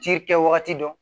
Ci kɛwagati dɔ